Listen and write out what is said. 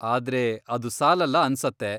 ಆದ್ರೆ ಅದು ಸಾಲಲ್ಲ ಅನ್ಸತ್ತೆ.